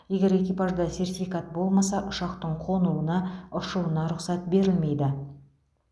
егер экипажда сертификат болмаса ұшақтың қонуына ұшуына рұқсат берілмейді